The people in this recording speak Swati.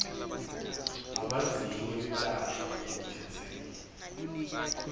abadzingi kwelashwa lokukhetsekile